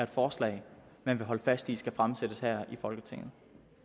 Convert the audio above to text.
forslag man vil holde fast i skal fremsættes her i folketinget